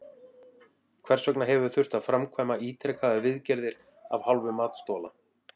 Hvers vegna hefur þurft að framkvæma ítrekaðar viðgerðir af hálfu matsþola?